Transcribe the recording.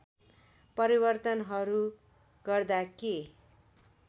परिवर्तनहरू गर्दा के